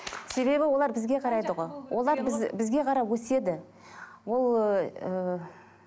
себебі олар бізге қарайды ғой олар біз ы бізге қарап өседі ол ыыы